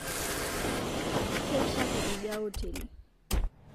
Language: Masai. Keishapu idia oteli